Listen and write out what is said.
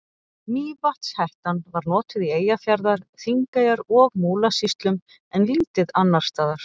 Mývatnshettan var notuð í Eyjafjarðar-, Þingeyjar- og Múlasýslum en lítið annars staðar.